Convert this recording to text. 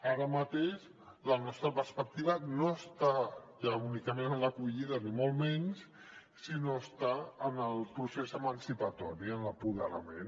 ara mateix la nostra perspectiva no està ja únicament en l’acollida ni molt menys sinó que està en el procés emancipador en l’apoderament